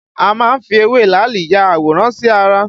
A má ń fi ewé làálì ya àwòrán sí ara